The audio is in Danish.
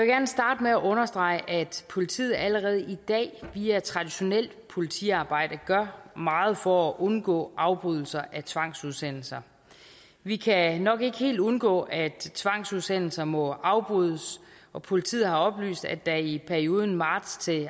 gerne starte med at understrege at politiet allerede i dag via traditionelt politiarbejde gør meget for at undgå afbrydelser af tvangsudsendelser vi kan nok ikke helt undgå at tvangsudsendelser må afbrydes og politiet har oplyst at der i perioden marts